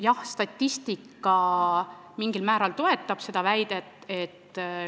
Jah, statistika mingil määral toetab seda väidet.